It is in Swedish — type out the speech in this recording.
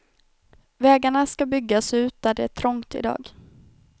Vägarna ska byggas ut där det är trångt i dag.